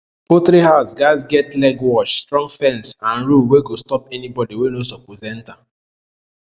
poultry house gatz get legwash strong fence and rule wey go stop anybody wey no suppose enter